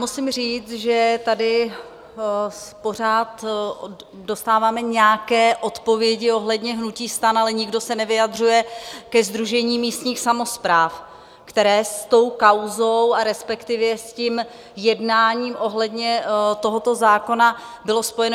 Musím říct, že tady pořád dostáváme nějaké odpovědi ohledně hnutí STAN, ale nikdo se nevyjadřuje ke Sdružení místních samospráv, které s tou kauzou a respektive s tím jednáním ohledně tohoto zákona bylo spojeno.